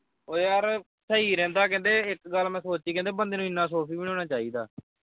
ਉਏ ਯਾਰ ਸਹੀ ਰਹਿੰਦਾ ਕਹਿੰਦੇ ਇਕ ਗੱਲ ਮੈਂ ਸੋਚੀ ਕਹਿੰਦੇ ਬੰਦੇ ਨੂੰ ਐਨਾਂ ਸੋਫੀ ਵੀ ਨਹੀਂ ਹੋਣਾ ਚਾਹੀਦਾ।